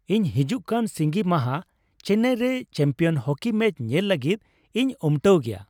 ᱤᱧ ᱦᱤᱡᱩᱜ ᱠᱟᱱ ᱥᱤᱸᱜᱤ ᱢᱟᱦᱟ ᱪᱮᱱᱱᱟᱭ ᱨᱮ ᱪᱟᱢᱯᱤᱭᱚᱢ ᱦᱚᱠᱤ ᱢᱮᱪ ᱧᱮᱞ ᱞᱟᱹᱜᱤᱫ ᱤᱧ ᱩᱢᱴᱟᱹᱣ ᱜᱮᱭᱟ ᱾